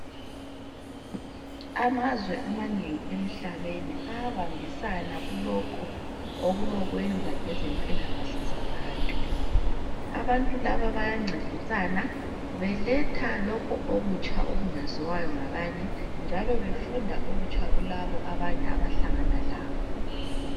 Amazwe amanengi emhlabeni ayabambisana kulokho okulokwenza ngezempilakahle zabantu. Abantu laba bayancedisana beletha lokho okutsha okungaziwayo ngabanye njalo befunda okutsha kulabo abanye abahlangana labo.